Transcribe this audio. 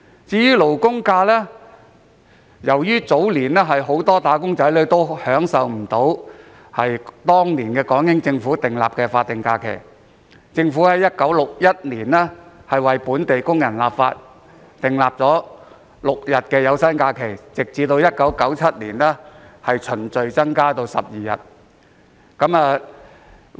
至於"勞工假"，由於早年很多"打工仔女"未能享有當時港英政府訂立的法定假期，政府便在1961年立法，讓本地工人享有6日有薪假期，有關假期在1997年後逐漸增至12日。